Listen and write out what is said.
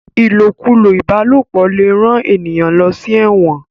ilokulo ìbálòpọ̀ lẹ rán ènìyàn ló sí èwòn.